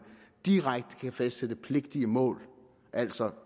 direkte kan fastsættes pligtige mål altså